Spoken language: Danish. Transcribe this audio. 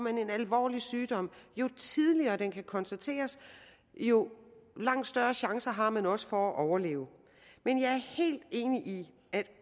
en alvorlig sygdom kan konstateres jo langt større chance har man også for at overleve men jeg er helt enig i at